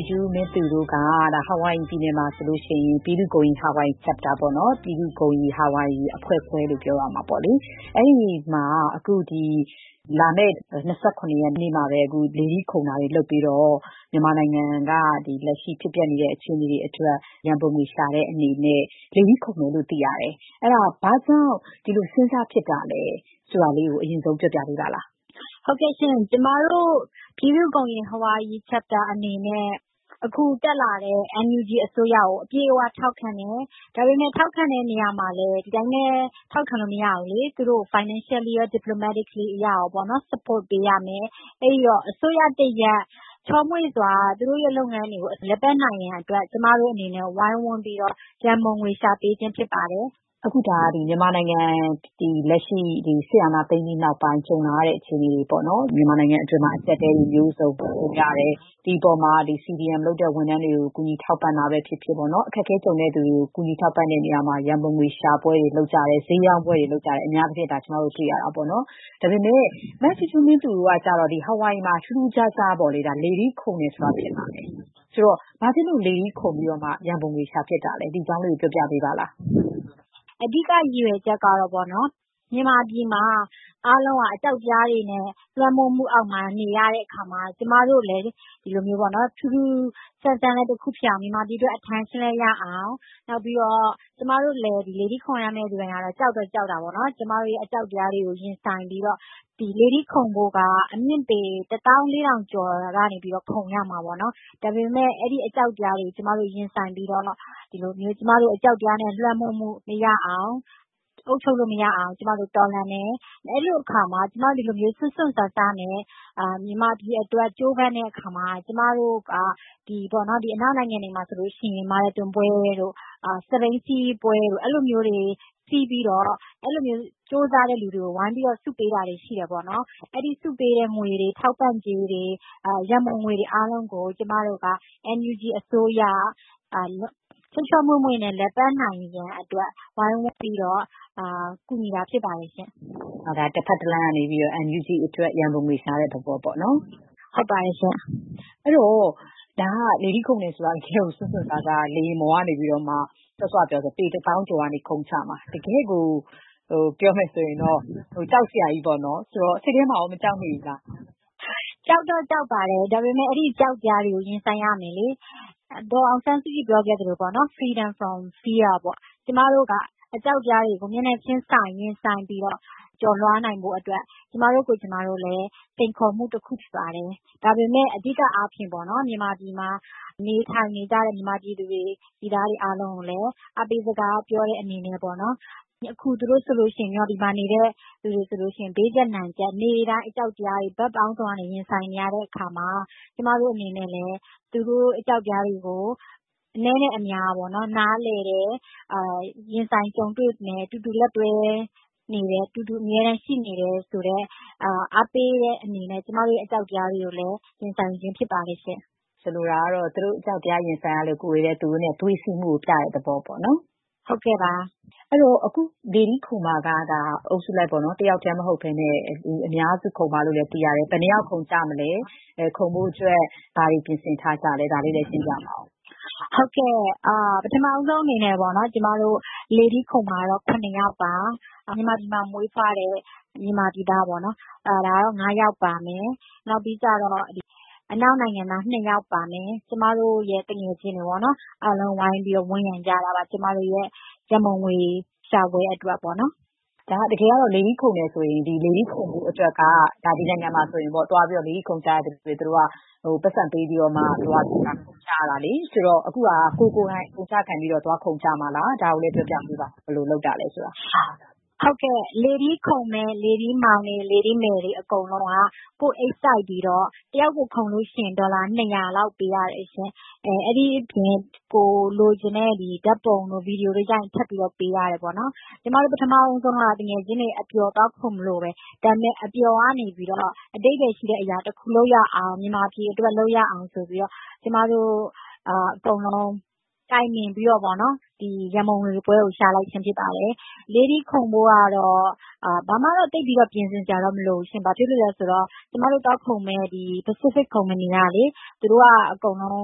ူးဂျူးမင်းသူ တို့က အာဝိုင်ရီပြည်နယ်မှာ ပြည်သူ့ဂုဏ်ရည် Hawaii Chapter ၊ ပြည်သူ့ဂုဏ်ရည် ဟာဝိုင်ရီအဖွဲ့ခွဲ အနေနဲ့ ဒီလ ၂၇ ရက်နေ့မှာ လေထီးခုန်ပြီး မြန်မာ့အရေးအတွက် ရန်ပုံငွေရှာပွဲ လုပ်ဖို့ ပြင်နေတယ်လို့ သိရပါတယ်။ ဘာကြောင့် ခုလိုလုပ်ဖို့ စဉ်းစားဖြစ်တာလဲ ဆိုတာ အရင်ဆုံး ပြောပြပေးပါလား။ “ဟုတ်ကဲ့ရှင့်။ ကျမတို့ ပြည်သူ့ဂုဏ်ရည် Hawaii Chapter အနေနဲ့ အခုတက်လာတဲ့ NUG အစိုးရကို အပြည့်အ၀ ထောက်ခံတယ်။ ဒါပေမဲ့ ထောက်ခံတဲ့နေရာမှာ ဒီအတိုင်းပဲ ထောက်ခံလို့မရဘူးလေ။ သူတို့ကို financially ရော၊ diplomatically ရော support ပေးရမယ်။ အဲ့ဒီတော့ အစိုးရတရပ် ချောမွေ့စွာ သူတို့ရဲ့လုပ်ငန်းတွေကို လည်ပတ်နိုင်ဖို့အတွက် ကျမတို့အနေနဲ့ ဝိုင်းဝန်းပြီးတော့ ရန်ပုံငွေရှာပေးခြင်း ဖြစ်ပါတယ်။” မြန်မာနိုင်ငံမှာ စစ်အာဏာသိမ်းပြီးနောက်ပိုင်း နိုင်ငံအတွင်းမှာ အကျပ်အတည်းတွေ မျိုးစုံကြုံရတယ်။ ဒီအပေါ်မှာ CDM လုပ်တဲ့ဝန်ထမ်းတွေကို ဒုက္ခသည်တွေကို ကူညီထောက်ပံ့တာပဲဖြစ်ဖြစ်၊ အခက်အခဲကြုံရတဲ့သူတွေကို ကူညီထောက်ပံ့တဲ့နေရာမှာ ရန်ပုံငွေ ရှာပွဲတွေ လုပ်ကြတယ်။ အများအားဖြင့် အလှူခံတာ၊ ဈေးရောင်းပွဲတွေ လုပ်ကြတာ တွေ့ရပါတယ်။ ဒါပေမဲ့ မဂျူးဂျူးမင်းသူ တို့ကကျတော့ ဟာဝိုင်ရီမှာ ထူးထူးခြားခြား လေထီးခုန်ဖို့လုပ်ကြတယ်။ ဆိုတော့ ဘာဖြစ်လို့ လေထီးခုန်ပြီးတော့ ရန်ပုံငွေ ရှာဖြစ်ကြတာလဲ။ “အဓိက ရည်ရွယ်ချက်ကတော့ မြန်မာပြည်မှာ အားလုံးက အကြောက်တရားတွေနဲ့ လွှမ်းမိုးမှုအောက်မှာ နေရတဲ့အခါမှာ ကျမတို့ကလဲ ဒီလို ထူးထူးဆန်းဆန်းလည်း တခုဖြစ်အောင်၊ မြန်မာပြည်အတွက် attention လည်း ရအောင်။ နောက်ပြီးတော့ ကျမတို့ လေထီးခုန်မယ့်သူတိုင်း ကတော့ ကြောက်တော့ကြောက်တာပေါ့နော်။ ဒါပေမဲ့ ကျမတို့ရဲ့ အကြောက်တရားတွေကို ရင်ဆိုင်ပြီးတော့ ဒီလေထီးခုန်ဖို့က အမြင့်ပေ ၁၄,၀၀၀ ကျော်ကနေပြီးတော့ ခုန်ရမှာပေါ့နော်။ ဒါပေမဲ့ အဲ့ဒီအကြောက်တရားတွေကို ကျမတို့ရင်ဆိုင်ပြီးတော့ အကြောက်တရားနဲ့ လွှမ်းမိုးမှု မရအောင်၊ အုပ်ချုပ်လို့မရအောင် ကျမတို့ တော်လှန်တယ်။ အဲ့လိုအခါမှာ ကျမတို့က စွန့်စွန့်စားစား မြန်မာပြည်အတွက် ကြိုးပမ်းတဲ့အခါမှာ - ဒီအနောက်နိုင်ငံတွေမှာဆိုရင် မာရသွန်ပွဲတို့၊ စက်ဘီးစီးပွဲတွေ လုပ်ပြီးတော့ အဲ့ဒီလိုကြိုးစားတဲ့ သူတွေကို ဝိုင်းပြီး ဆုပေးတာတွေ ရှိတယ်ပေါ့နော်။ အဲ့ဒီဆုပေးတဲ့ငွေတွေ၊ ထောက်ပံ့ကြေးတွေ၊ ရန်ပုံငွေတွေ အားလုံးကို ကျမတို့က NUG အစိုးရ ချောချောမွေ့မွေ့ လည်ပတ်နိုင်ဖို့အတွက် ဝိုင်းဝန်းပြီးတော့ ကူညီတာဖြစ်တယ်ပေါ့။” ဆိုတော့ ဒါက တဘက်တလှမ်းကနေ NUG အတွက် ရန်ပုံငွေရှာတဲ့ သဘောပေါ့။ “ဟုတ်ပါတယ်ရှင့်။” လေထီးခုန်တယ်ဆိုတာ တကယ့်ကို စွန့်စွန့်စားစား လေယာဉ်ပေါ်ကနေ စောစောကပြောတဲ့အတိုင်းဆိုရင် ပေ တစ်သောင်းကျော်ကနေ ခုန်ချမှာ။ တကယ့်ကို ကြောက်စရာကြီးပါ။ စိတ်ထဲမှာရော မကြောက်မိဘူးလား။ “ကြောက်တော့ကြောက်ပါတယ်။ ဒါပေမဲ့ အဲ့ဒီအကြောက်တရားတွေကို ရင်ဆိုင်ရမယ်လေ။ ဒေါ်အောင်ဆန်းစုကြည် ပြောခဲ့သလိုပေါ့နော်။ Freedom from Fear ပေါ့။ ကျမတို့က အကြောက်တရားတွေကို မျက်နှာချင်းဆိုင် ရင်ဆိုင်ပြီးတော့ အဲ့ဒီအကြောက်တရားတွေကို ရင်ဆိုင်ကျော်လွှားနိုင်ဖို့ အတွက် ကျမတို့ကိုယ်ကျမတို့လည်း စိန်ခေါ်မှုတခု ဖြစ်ပါတယ်။ ဒါပေမဲ့ အဓိကအားဖြင့်ပေါ့ မြန်မာပြည်မှာ နေထိုင်နေကြတဲ့ မြန်မာပြည်သူတွေ ပြည်သားတွေ အားလုံးကိုလည်း အားပေးစကား ပြောတဲ့အနေနဲ့ပေါ့နော်။ အခု မြန်မာပြည်မှာ နေတဲ့သူတွေဆိုလို့ရှိရင် ဘေးကျပ်နံကျပ် နေ့တိုင်း အကြောက်တရားတွေ ရင်ဆိုင်နေရတဲ့အခါမှာ ကျမတို့အနေနဲ့လည်း သူတို့ရဲ့ အကြောက်တရားတွေကို အနည်းနဲ့အများ နားလည်တယ်။ ရင်ဆိုင်ကြုံတွေ့မယ်။ အတူတူလက်တွဲနေတယ်။ အတူတူ အမြဲတမ်းရှိနေတယ်ဆိုတဲ့ အားပေးတဲ့အနေနဲ့ ကျမတို့ရဲ့ အကြောက်တရားတွေကိုလည်း ရင်ဆိုင်ခြင်းဖြစ်ပါတယ်။” ဆိုလိုတာက သူတို့တွေ အကြောက်တရားတွေနဲ့ ရင်ဆိုင်နေရလို့ ကိုယ်တွေကလည်း သူတို့နဲ့အတူ သွေးစည်းမှုကို ပြတဲ့သဘောပေါ့။ “ဟုတ်ကဲ့ပါ။” အခု လေထီးခုန်မှာက တယောက်တည်းမဟုတ်ဘဲ အုပ်စုလိုက်ခုန်မယ်လို့ သိရပါတယ်။ ဆိုတော့ ဘယ်နှစ်ယောက် ခုန်ကြမှာလဲ။ ခုန်ဖို့အတွက် ဘာတွေ ပြင်ဆင်ထားကြလဲ ဆိုတာလည်း ပြောပြပါဦး။ “ဟုတ်ကဲ့။ ပထမဆုံးအနေနဲ့ ကျမတို့ လေထီးခုန်မှာကတော့ ၇ ယောက်ပါ။ မြန်မာပြည်မှာ မွေးတဲ့မြန်မာပြည်သားက ၅ ယောက် ပါမယ်။ အနောက်နိုင်ငံသား ၂ ယောက်ပါမယ်။ ကျမတို့ရဲ့ သူငယ်ချင်းတွေပေါ့။ အားလုံး ဝိုင်းပြီးတော့ ဝန်းရံကြတာပါ။ ကျမတို့ရဲ့ ရန်ပုံငွေရှာပွဲ အတွက်ပေါ့။” လေထီးခုန်မယ်ဆိုရင် ဒီနိုင်ငံမှာ လေထီးခုန်ဖို့အတွက် ပိုက်ဆံပေးပြီးတော့ ခုန်ကြရတာပါ။ ဆိုတော့ အခု ခုန်မယ့်သူတွေက ကိုယ် ကိုယ်တိုင် အကုန်အကျခံပြီး ခုန်ကြမှာလား။ ဘယ်လို စီစဉ်ကြတာလဲဆိုတာလဲ ပြောပြပါဦး။ “ဟုတ်ကဲ့။ လေထီးခုန်မယ့် လေထီးမောင်တွေ လေထီးမယ်တွေ အကုန်လုံးက ကိုယ့်အိတ်စိုက်ပြီး တယောက်ကို ခုန်လို့ရှိရင် ဒေါ်လာ ၂၀၀ လောက် ပေးရတယ်ရှင့်။ အဲ့ဒီအပြင် ကိုယ်လိုချင်တဲ့ ဓာတ်ပုံတို့ ဗွီဒီယိုတို့ ရိုက်ရင် ထပ်ပြီးပေးရတယ်ပေါ့နော်။ ကျမတို့ ပထမဦးဆုံးကတော့ သူငယ်ချင်းတွေ အပျော် သွားခုန်မလို့ပဲ။ ဒါပေမဲ့ အပျော်ကနေ အဓိပ္ပါယ်ရှိတဲ့အရာတခု လုပ်ရအောင်၊ မြန်မာပြည်အတွက် လုပ်ရအောင် ဆိုပြီးတော့ ကျမတို့အားလုံး တိုင်ပင်ပြီးတော့ ရန်ပုံငွေပွဲကို ရှာလိုက်ခြင်းဖြစ်ပါတယ်။ လေထီးခုန်ဖို့ကတော့ ဘာမှတော့ သိပ်ပြီး ပြင်ဆင်စရာ မလိုပါဘူး။ ဘာဖြစ်လို့လဲဆိုတော့ ကျမတို့သွားခုန်မယ့် Pacific ကုမ္ပဏီက အကုန်လုံး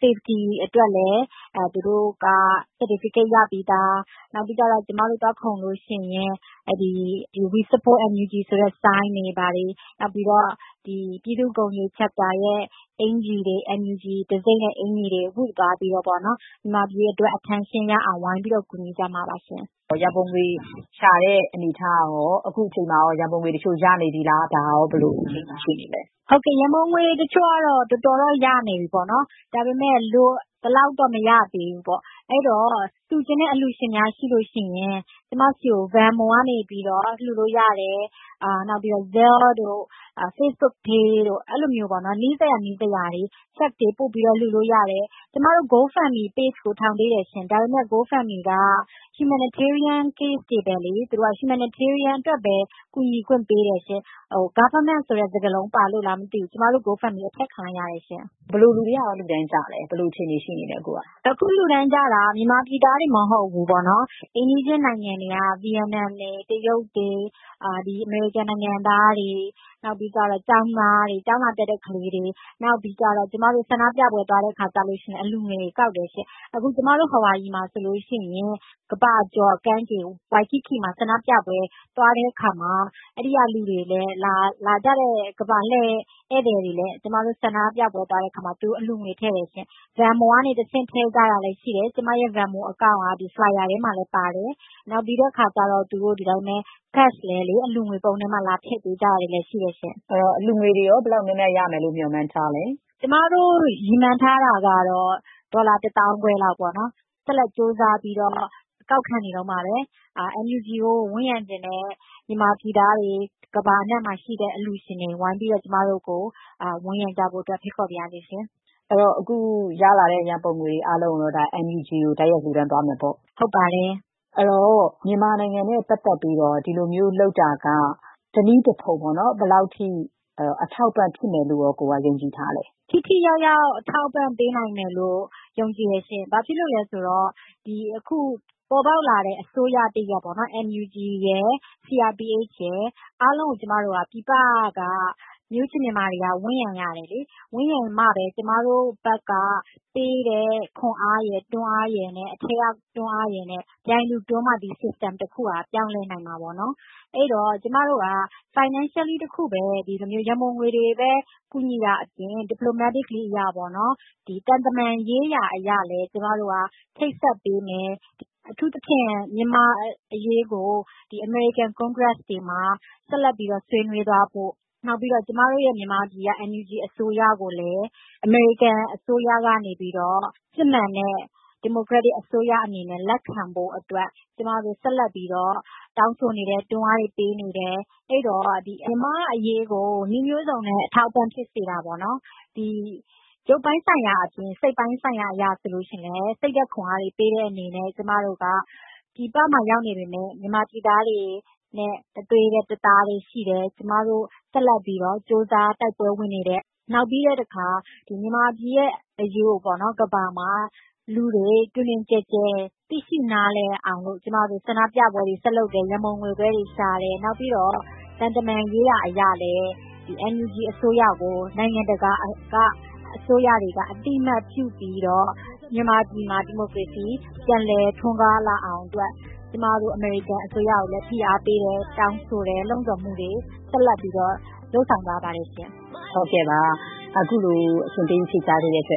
safety အတွက်လည်း သူတို့က certificate ရပြီးသား။ နောက်ပြီးတော့ ကျမတို့ သွားခုန်လို့ရှိရင် We support NUG ဆိုတဲ့ ဆိုင်းပုဒ်တွေ၊ ပြည်သူ့ဂုဏ်ရည် Chapter ရဲ့ အင်္ကျီတွေ၊ NUG အင်္ကျီတွေ ဝတ်သွားပြီးတော့ မြန်မာပြည်အတွက် attention ရအောင် ဝိုင်းပြီးတော့ ကူညီကြမှာပါရှင့်။” ရန်ပုံငွေရှာတဲ့ အနေအထားကရော ဘယ်လိုရှိလဲ။ အခုချိန်မှာ ရန်ပုံငွေတချို့ ရနေပြီလား။ “ဟုတ်ကဲ့။ ရန်ပုံငွေတချို့တော့ တော်တော်တော့ ရနေပြီပေါ့နော်။ ဒါပေမဲ့ လိုသလောက်တော့ မရသေးဘူးပေါ့။ အဲ့ဒီတော့ လှူချင်တဲ့အလှူရှင်များရှိရင် ကျမဆီကို Venmo ကနေ လှူလို့ရတယ်။ Zelle တို့ Facebook pay တို့ နီးစပ်ရာကနေ လှူလို့ရတယ်။ ကျမတို့ Go Fund Me page ထောင်သေးတယ်ရှင့်။ ဒါပေမဲ့ Go Fund Me က humanitarian case တွေကိုပဲ ကူညီခွင့်ပေးတယ်ရှင့်။ government ဆိုတဲ့ စကားလုံးပါလို့လားမသိဘူး။ ကျမတို့ Go Fund Me အဖျက်ခံလိုက်ရတယ်ရှင့်။” ဘယ်လိုလူတွေက အဓိက လှူဒါန်းကြလဲ။ “အခု လှူဒါန်းကြတာက မြန်မာပြည်သားတွေတင် မဟုတ်ဘူးပေါ့နော်။ အိမ်နီးချင်း နိုင်ငံတွေက ဗီယက်နမ်တွေ၊ တရုတ်တွေ၊ အမေရိကန်နိုင်ငံသားတွေ၊ ကျောင်းသားတွေ၊ ကျောင်းလာတက်ကြတဲ့သူတွေ။ နောက်ပြီးတော့ ကျမတို့ ဆန္ဒပြပွဲတွေ သွားရင်လဲ အလှူငွေတွေ ကောက်တယ်ရှင့်။ အခု ကျမတို့ ဟာဝိုင်ရီမှာဆိုရင် ကမ္ဘာကျော်ကမ်းခြေ ဝိုင်ကိကီ မှာ ဆန္ဒပြပွဲ သွားတဲ့အခါမှာလဲ အဲ့ဒီကိုလာကြတဲ့ ကမ္ဘာလှည့် ဧည့်သည်တွေကလည်း ကျမတို့ ဆန္ဒပြပွဲမှာ အလှူငွေ ထည့်ကြတယ်ရှင့်။ Venmo ကနေ ထည့်ကြတာလည်း ရှိတယ်။ ကျမရဲ့ Venmo account က flyer ထဲမှာလဲ ထည့်ထားတယ်။ တချို့က ငွေသားနဲ့ပဲ အလှူငွေပုံးထဲ လာထည့်ကြတာလည်း ရှိတယ်ရှင့်။” အလှူငွေတွေ ဘယ်လောက်များများ ရဖို့ရော မျှော်မှန်းထားတာပါလဲ။ “ကျမတို့ရည်မှန်းထားတာ ကတော့ ဒေါ်လာ တစ်သောင်းခွဲလောက်ပေါ့နော်။ ဆက်လက်ပြီးတော့ ကောက်ခံနေတုန်းပါပဲ။ NUG ကို ဝန်းရံချင်တဲ့ မြန်မာပြည်သားတွေ၊ ကမ္ဘာအနှံ့မှာရှိတဲ့ အလှူရှင်တွေ ကျမတို့ကို ဝိုင်းပြီး ဝန်းရံကြဖို့အတွက် ဖိတ်ခေါ်ပါရစေ။” အဲ့ဒီတော့ အခုရလာတဲ့ ရန်ပုံငွေတွေ အားလုံးကိုတော့ NUG ကို တိုက်ရိုက်လှူဒါန်းသွားမယ်ပေါ့။ “ဟုတ်ပါတယ်။” အဲ့ဒီတော့ မြန်မာနိုင်ငံနဲ့ပတ်သက်ပြီးတော့ ဒီလိုမျိုးလုပ်တာက ဘယ်လောက်အထိ တနည်းတဖုံ အထောက်အပံ့ဖြစ်မယ်လို့ ယုံကြည်ထားလဲ။ “ထိထိရောက်ရောက် အထောက်အပံ့ပေးနိုင်မယ်လို့ ယုံကြည်တယ်ရှင့်။ ဘာဖြစ်လို့လဲဆိုတော့ ဒီအခု ပေါ်ပေါက်လာတဲ့ အစိုးရတရပ် NUG ရယ်။ CRPH ရယ် အားလုံးကို ပြည်ပက မျိုးချစ်မြန်မာတွေက ဝန်းရံရတယ်လေ။ ဝန်းရံမှပဲ ကျမတို့ဘက်ကပေးတဲ့ ခွန်အားရယ်၊ တွန်းအားရယ်နဲ့ အထဲကတွန်းအားရယ် ပြိုင်တူတွန်းမှ ဒီစနစ်တခုက ပြောင်းလဲနိုင်မှာပေါ့နော်။ အဲ့ဒီတော့ ကျမတို့က ငွေကြေးတခုတည်း ဒီလို ရန်ပုံငွေတွေပဲ ကူညီတာအပြင် သံတမန်ရေးရာအရလည်း ချိတ်ဆက်ပေးမယ်။ အထူးသဖြင့် မြန်မာ့အရေးကို အမေရိကန် ကွန်ဂရက်လွှတ်တော်တွေမှာ ဆက်ပြီးတော့ ဆွေးနွေးသွားဖို့။ နောက်ပြီးတော့ ကျမတို့ မြန်မာပြည်က NUG အစိုးရကိုလည်း အမေရိကန်အစိုးရက စစ်မှန်တဲ့ ဒီမိုကရက်တစ်အစိုးရ အနေနဲ့ လက်ခံဖို့အတွက် ကျမတို့ ဆက်လက်ပြီးတော့ တောင်းဆိုနေတယ်။ တွန်းအားတွေ ပေးနေတယ်။ အဲ့ဒီတော့ မြန်မာ့အရေးကို နည်းမျိုးစုံနဲ့ အထောက်အပံ့ဖြစ်စေတာပေါ့နော်။ ရုပ်ပိုင်းဆိုင်ရာအပြင် စိတ်ပိုင်းဆိုင်ရာ အရဆိုရင်လဲ စိတ်ဓာတ်ခွန်အားပေးတဲ့အနေနဲ့၊ ကျမတို့က ပြည်ပမှာ ရောက်နေပေမဲ့ မြန်မာပြည်သားတွေနဲ့ တသွေးတည်း တသားတည်း ရှိတယ်။ ကျမတို့ ဆက်လက်ပြီးတော့ ကြိုးစား တိုက်ပွဲဝင်နေတယ်။ နောက်ပြီးတော့ မြန်မာပြည်ရဲ့အရေးကို ကမ္ဘာကလူတွေ တွင်တွင်ကျယ်ကျယ် သိရှိနားလည်အောင် ဆန္ဒပြပွဲတွေ ဆက်လုပ်တယ်။ ရန်ပုံငွေပွဲတွေ ရှာတယ်။ နောက်ပြီးတော့ သံတမန်ရေးရာ အရလည်း NUG အစိုးရကို နိုင်ငံတကာက အသိအမှတ်ပြုပြီးတော့ မြန်မာပြည်မှာ ဒီမိုကရေစီ ပြန်လည်ထွန်းကားလာအောင်အတွက် ကျမတို့ အမေရိကန်အစိုးရကိုလည်း ဖိအားပေးတယ်။ တောင်းဆိုတယ်။ လှုံ့ဆော်မှုတွေ ဆက်လက်ပြီးတော့ လုပ်ဆောင်နေပါတယ်။” ခုလိုအချိန်ပေး ဖြေကြားပေးတဲ့အတွက်